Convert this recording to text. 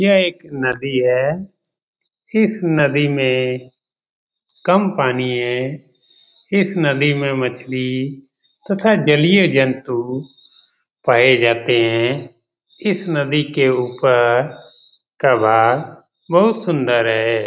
यह एक नदी है इस नदी में कम पानी है इस नदी में मछली तथा जलीय जंतु पाए जाते हैं इस नदी के ऊपर बहुत सुंदर है ।